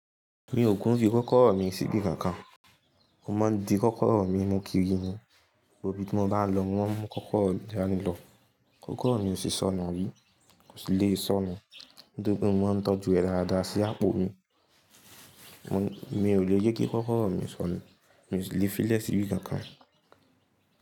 Mi ò kùn fi kọ́kọ́rọ́ mi sí ibi kankan. Mo máa ń di kọ́kọ́rọ́ mi mú kiri ni, gbogbo íbí ti mo bá lọ mo mọ́n mú kọ́kọ́rọ́ mi dani lọ. Kọ́kọ́rọ́ mi ò sí sọnu rí, kò sì le sọnà. Nítorí pé mo mọ́n ń tọ́jú rẹ dáadáa sí àpò mi. Mo, mi ò le jẹ kí kọ́kọ́rọ́ mi sọnu. Mi ò sí lè fi lẹ́ sí ibi kankan.